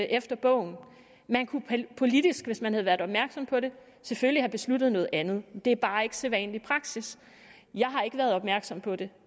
efter bogen man kunne politisk hvis man havde været opmærksom på det selvfølgelig have besluttet noget andet men det er bare ikke sædvanlig praksis jeg har ikke været opmærksom på det